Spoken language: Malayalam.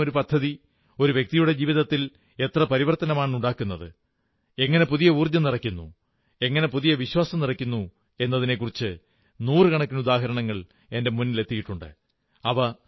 ഏതെങ്കിലുമൊരു പദ്ധതി ഒരു വ്യക്തിയുടെ ജീവിതത്തിൽ എത്ര പരിവർത്തനമാണുണ്ടാക്കുന്നത് എങ്ങനെ പുതിയ ഊർജ്ജം നിറയ്ക്കുന്നു എങ്ങനെ പുതിയ വിശ്വാസം നിറയ്ക്കുന്നു എന്നതിനെക്കുറിച്ച് നൂറുകണക്കിന് ഉദാഹരണങ്ങൾ എന്റെ മുന്നിലെത്തിയിട്ടുണ്ട്